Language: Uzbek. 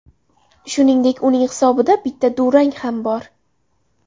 Shuningdek, uning hisobida bitta durang ham bor.